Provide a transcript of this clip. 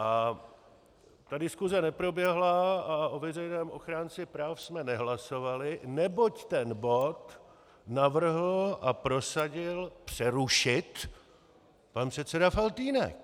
A ta diskuse neproběhla a o veřejném ochránci práv jsme nehlasovali, neboť ten bod navrhl a prosadil přerušit pan předseda Faltýnek.